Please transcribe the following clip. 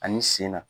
Ani sen na